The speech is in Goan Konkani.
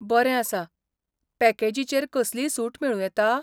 बरें आसा. पॅकेजीचेर कसलीय सूट मेळूं येता?